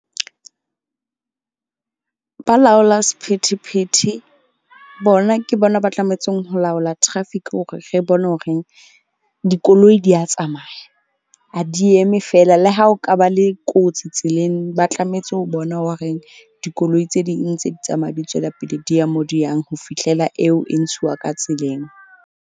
Balaola sephethephethe bona ke bona ba tlametseng ho laola traffic hore re bone horeng dikoloi di ya tsamaya. Ha di eme fela le ha ho ka ba le kotsi tseleng, ba tlametse ho bona horeng dikoloi tse ding tse di tsamaya di tswela pele, di ya mo di yang ho fihlela eo e ntshiwa ka tseleng.